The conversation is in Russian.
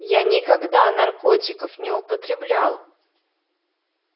я никогда наркотиков не употреблял